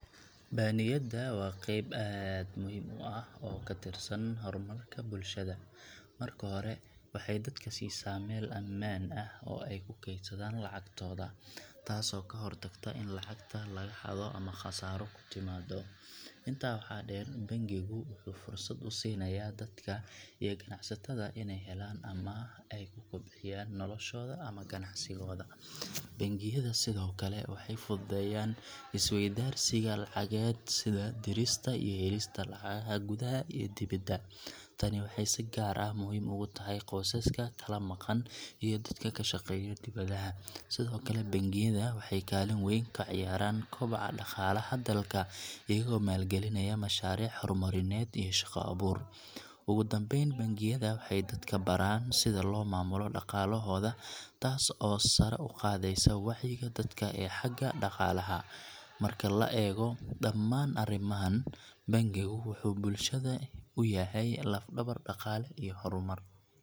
Baaniyadda waa qayb aad u muhiim ah oo ka tirsan horumarka bulshada. Marka hore, waxay dadka siisaa meel ammaan ah oo ay ku kaydsadaan lacagtooda, taasoo ka hortagta in lacagta laga xado ama khasaaro ku timaado. Intaa waxaa dheer, bangigu wuxuu fursad u siinayaa dadka iyo ganacsatada inay helaan amaah ay ku kobciyaan noloshooda ama ganacsigooda. Bangiyada sidoo kale waxay fududeeyaan is-weydaarsiga lacageed sida dirista iyo helista lacagaha gudaha iyo dibadda. Tani waxay si gaar ah muhiim ugu tahay qoysaska kala maqan iyo dadka ka shaqeeya dibadaha. Sidoo kale, bangiyada waxay kaalin weyn ka ciyaaraan koboca dhaqaalaha dalka, iyagoo maalgelinaya mashaariic horumarineed iyo shaqo-abuur. Ugu dambayn, bangiyada waxay dadka baraan sida loo maamulo dhaqaalahooda taas oo sare u qaadaysa wacyiga dadka ee xagga dhaqaalaha. Marka la eego dhammaan arrimahan, bangigu wuxuu bulshada u yahay laf-dhabar dhaqaale iyo horumar.